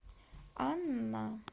анна